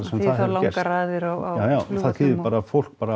langar raðir á jájá það þýðir bara að fólk